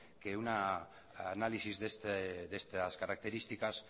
que un análisis de estas características